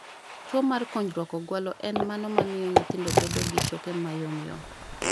Tuo mar kunjruok ogwalo en mano mamiyo nyithindo bedo gi choke ma yom yom